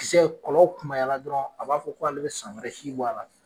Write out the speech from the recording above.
Kisɛ kɔlɔ kunbayara dɔrɔn a b'a fɔ k'ale be san wɛrɛ si bɔ a la de